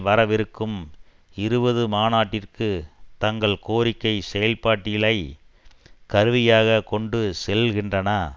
வரவிருக்கும் இருபது மாநாட்டிற்கு தங்கள் கோரிக்கை செயல்பட்டியலை கருவியாகக் கொண்டு செல்கின்றன